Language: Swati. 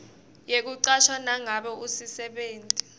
yekucashwa nangabe usisebenti